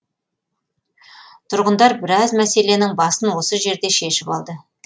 тұрғындар біраз мәселенің басын осы жерде шешіп алды